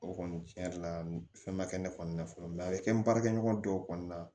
O kɔni tiɲɛ yɛrɛ la fɛn ma kɛ ne kɔni na fɔlɔ mɛ a bɛ kɛ n baarakɛɲɔgɔn dɔw kɔni na